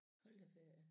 Hold da ferie